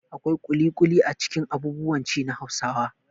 Akwai ƙuliƙuli a cikin abubuwan ci na Hausawa.